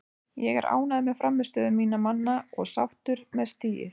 Ég er ánægður með frammistöðu minna manna og sáttur með stigið.